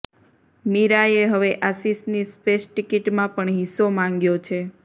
મીરાએ હવે આશિષની સ્પેસ ટિકિટમાં પણ હિસ્સો માંગ્યો છે